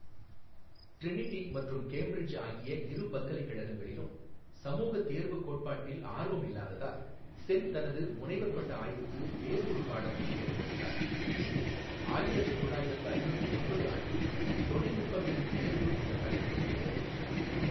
Trinity மற்றும் Cambridge ஆகிய இரு பல்கலைக்கழகங்களிலும் சமூகத் தேர்வுக் கோட்பாட்டில் ஆர்வம் இல்லாததால், சென் தனது முனைவர் பட்ட ஆய்வுக்கு வேறு ஒரு பாடத்தைத் தேர்ந்தெடுத்தார், இது ஆயிரத்து தொள்ளயிரத்து ஐம்பத்து ஒன்பது ஆண்டில் "தொழில்நுட்பங்களின் தேர்வு" என்ற தலைப்பில் இருந்தது.